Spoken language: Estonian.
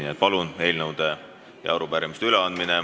Nii et palun, eelnõude ja arupärimiste üleandmine.